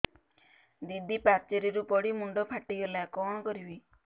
ଦିଦି ପାଚେରୀରୁ ପଡି ମୁଣ୍ଡ ଫାଟିଗଲା କଣ କରିବି